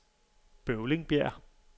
Bøvlingbjerg